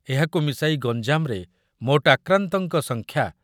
ଏହାକୁ ମିଶାଇ ମିଶାଇ ଗଞ୍ଜାମରେ ମୋଟ ଆକ୍ରାନ୍ତଙ୍କ ସଂଖ୍ୟା